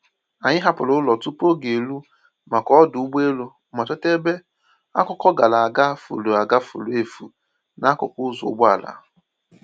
Anyị hapụrụ ụlọ tupu oge eru maka ọdụ ụgbọelu, ma chọta ebe akụkọ gara aga furu aga furu efu n’akụkụ ụzọ ụgbọala.